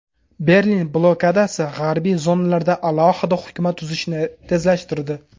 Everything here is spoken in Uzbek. Berlin blokadasi g‘arbiy zonalarda alohida hukumat tuzishni tezlashtirdi.